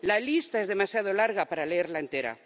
La lista es demasiado larga para leerla entera.